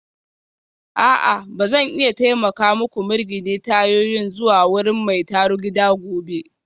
A'a ba zan iya taimaka muku mirgine tayoyin zuwa wurin mai tarugida gobe